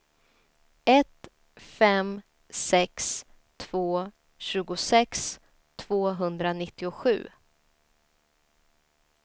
ett fem sex två tjugosex tvåhundranittiosju